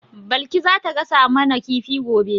Balki za ta gasa mu na kifi gobe